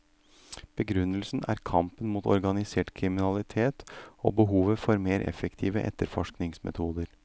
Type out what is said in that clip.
Begrunnelsen er kampen mot organisert kriminalitet og behovet for mer effektive etterforskningsmetoder.